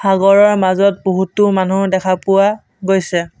সাগৰৰ মাজত বহুতো মানুহ দেখা পোৱা গৈছে।